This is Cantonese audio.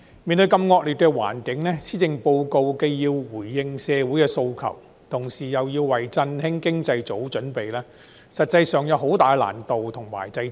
面對如此惡劣的環境，施政報告既要回應社會訴求，同時亦要為振興經濟做好準備，實際上有很大的難度和掣肘。